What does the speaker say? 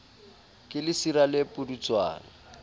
ke lesira le le pudutswana